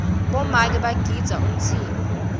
bomake bagidza umtsimba